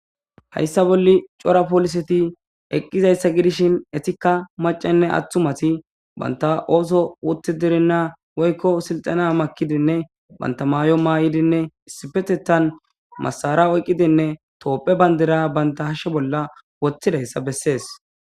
Hayissan bolla cora polisseti eqizzayissa gidishshin ettikka maacayinne atumayi bantta oththo wutiddirinna woyikko silitenna maakidi banta mayo mayiddinne issippeteththan masara oyikkidinne tophphiya bandira baa hashshe bolla woththidiyassa besses.